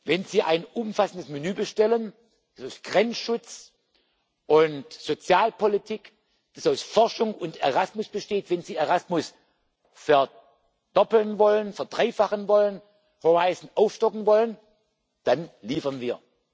Wenn Sie ein umfassendes Menü bestellen, das aus Grenzschutz und Sozialpolitik, das aus Forschung und Erasmus besteht, wenn Sie Erasmus verdoppeln wollen, verdreifachen wollen, Horizont aufstocken wollen, dann liefern wir.